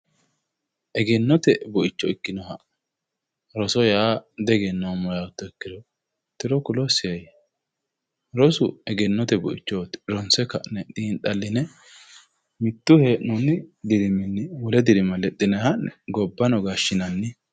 Egennote buicho ikkinoha roso yaa tiro ku'losiheya ,rosu yaa egennote buichoti ronse ka'ne mitu hee'nonni diriminni ha'ne gobbano gashshinanni.